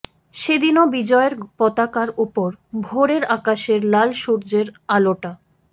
সেদিনও বিজয়ের পতাকার ওপর ভোরের আকাশের লাল সূর্যের আলোটা